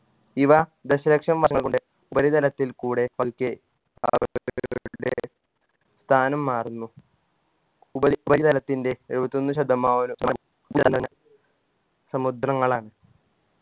ഇവ ദശലക്ഷം വർഷം കൊണ്ട് ഉപരിതലത്തിൽ കൂടെ പതുക്കെ സ്ഥാനം മാറുന്നു ഉപരി ഉപരിതലത്തിൻറെ എഴുപത്തൊന്ന് ശതമാനം സമുദ്രങ്ങളാണ്